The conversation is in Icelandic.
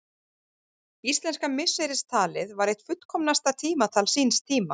Íslenska misseristalið var eitt fullkomnasta tímatal síns tíma.